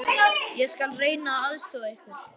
Ég skal reyna að aðstoða ykkur.